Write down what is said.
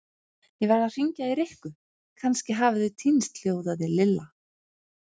Ég verð að hringja í Rikku, kannski hafa þau týnst hljóðaði Lilla.